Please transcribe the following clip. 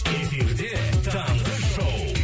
эфирде таңғы шоу